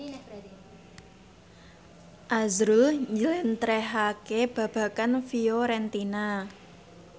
azrul njlentrehake babagan Fiorentina